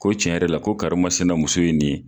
Ko tiɲɛ yɛrɛ la , ko karimasina muso ye nin ye.